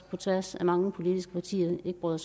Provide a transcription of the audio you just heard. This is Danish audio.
på tværs af mange politiske partier ikke bryder